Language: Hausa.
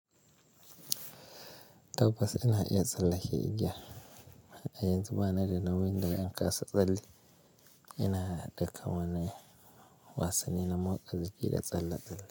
Tabbas ina iya tsallake igiya. A yanzu bana da nauyin da zan kasa tsalle. Ina haɗa kamanni, wasanni na motsa jiki da tsalla tsalle.